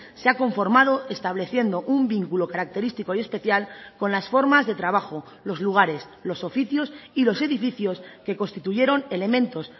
se ha conformado estableciendo un vínculo característico y especial con las formas de trabajo los lugares los oficios y los edificios que constituyeron elementos